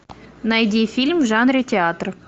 найди фильм в жанре театр